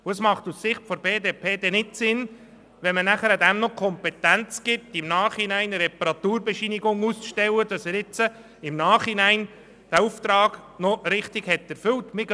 Es ist aus Sicht der BDP nicht sinnvoll, diesem Garagisten dann auch die Kompetenz zuzusprechen, im Nachhinein eine Reparaturbescheinigung auszustellen, die belegt, dass er im Nachhinein den Auftrag noch richtig erfüllt hat.